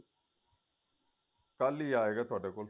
ਕੱਲ ਹੀ ਆਏਗਾ ਤੁਹਾਡੇ ਕੋਲ